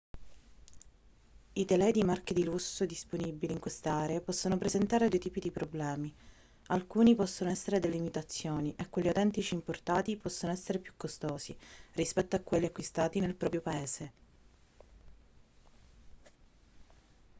i telai di marche di lusso disponibili in queste aree possono presentare due tipi di problemi alcuni possono essere delle imitazioni e quelli autentici importati possono essere più costosi rispetto a quelli acquistati nel proprio paese